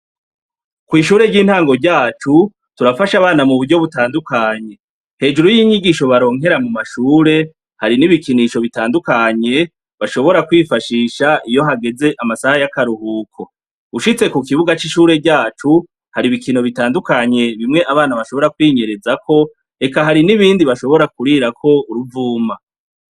Kw'ishure ry'intango ryacu turafasha abana mu buryo butandukanye hejuru y'inyigisho baronkera mu mashure hari n'ibikinisho bitandukanye bashobora kwifashisha iyo hageze amasaha y'akaruhuko ushitse ku kibuga c'ishure ryacu hari ibikino bitandukanye bimwe abana bashobora kwinyerezako k hari n'ibindi bashobora kurirako uruvuma.